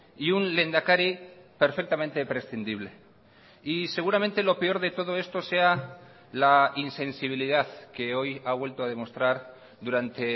y un lehendakari perfectamente prescindible y seguramente lo peor de todo esto sea la insensibilidad que hoy ha vuelto a demostrar durante